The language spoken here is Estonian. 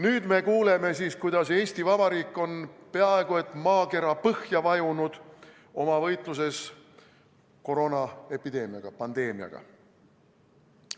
Nüüd me kuuleme siis, kuidas Eesti Vabariik on oma võitluses koroonaepideemiaga, pandeemiaga peaaegu et maakera põhja vajunud.